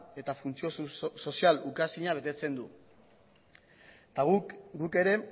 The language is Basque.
eta funtzio sozial ukaezina betetzen du eta guk guk ere